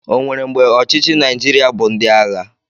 O nwere mgbe ọchịchị Naijiria bụ ndị agha?